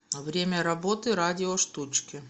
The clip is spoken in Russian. время работы радиоштучки